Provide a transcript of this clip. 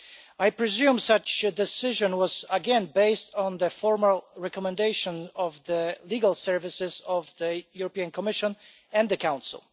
I presume such a decision was again based on the formal recommendation of the legal services of the European Commission and the Council.